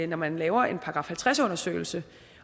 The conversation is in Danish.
når man laver en § halvtreds undersøgelse